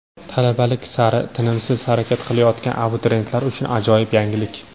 Talabalik sari tinimsiz harakat qilayotgan abituriyentlar uchun ajoyib yangilik!